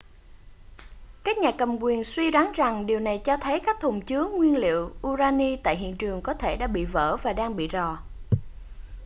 các nhà cầm quyền suy đoán rằng điều này cho thấy các thùng chứa nhiên liệu urani tại hiện trường có thể đã bị vỡ và đang bị rò